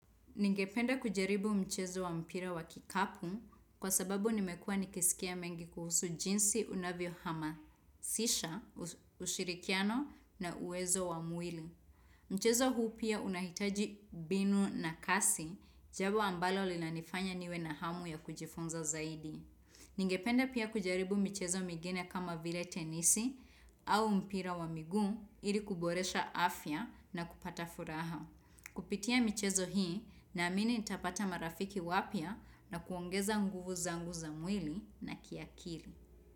Ningependa kujaribu mchezo wa mpira wa kikapu kwa sababu nimekua nikiskia mengi kuhusu jinsi unavyohamasisha, ushirikiano na uwezo wa mwili. Mchezo huu pia unahitaji mbinu na kasi jambo ambalo linanifanya niwe na hamu ya kujifunza zaidi. Ningependa pia kujaribu michezo mingine kama vile tenisi au mpira wa miguu ili kuboresha afya na kupata furaha. Kupitia michezo hii naamini nitapata marafiki wapya na kuongeza nguvu zangu za mwili na kiakili.